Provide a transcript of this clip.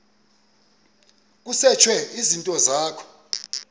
kusetshwe izinto zakho